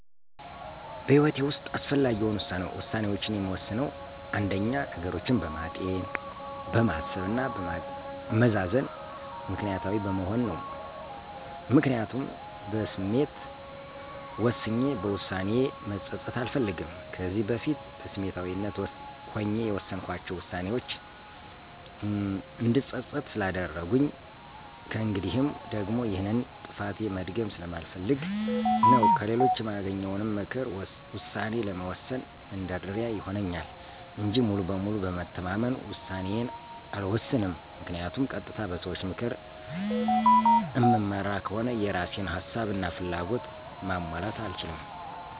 በህይወቴ ውሰጥ አስፈላጊ የሆኑ ውሳኔዎችን የምወስነው አንደኛ፦ ነገሮችን በማጤን፣ በማሰብ እና በማመዛዘን ምክኒያታዊ በመሆን ነው። ምክንያቱም በስሜት ወስኜ በውሳኔዬ መፀፀት አልፈልግም። ከዚህ በፊት በስሜታዊነት ሆኜ የወሰንኳቸው ዉሳኔዎቼ እንድፀፀት ስላደረጉኝ ከእንግዲህም ደግሞ ይሄንን ጥፋቴ መድገም ስለማልፈልግ ነው። ከሌሎች የማገኘውንም ምክር ውሳኔ ለመወሰን መንደርደሪያ ይሆንልኛል እንጂ ሙሉ በሙሉ በመተማመን ውሳኔዬን አልወሰንም ምክንያቱም ቀጥታ በሰዎች ምክር እምመራ ከሆነ የእራሴን ሀሳብ እና ፍላጎት ማሟላት አልችልም።